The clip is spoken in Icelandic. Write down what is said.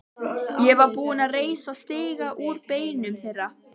Ég var tilbúinn að reisa stiga úr beinum þeirra.